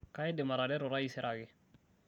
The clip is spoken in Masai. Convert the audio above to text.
kaidim atareto taisere ake